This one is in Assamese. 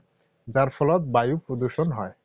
যাৰ ফলত বায়ু প্ৰদুষণ হয়৷